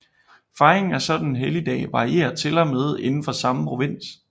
Fejringen af sådanne helligdage varierer til og med indenfor samme provins